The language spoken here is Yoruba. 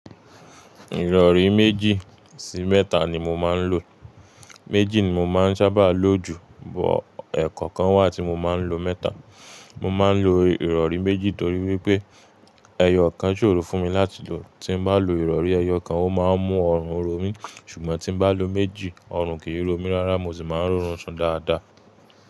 Ìrọ̀rí méjì sí mẹ́ta ni mo máa ń lò. Méjì ni mo máa ń ṣábà lò jù, but ẹ̀ẹ̀kọọ̀kan wá tí mo máa ń lo mẹ́ta. Mo máa ń lo ìrọ̀rí méjì torí wípé ẹyọ kan ṣòro fún mi láti lò. Tí n bá lo ìrọ̀rí ẹyọkan, ó máa ń mú ọrùn ro mí, ṣùgbọ́n tí n bá lo méjì, ọrùn kì í ro mí rárá mo sì máa ń roorun sun dáadáa.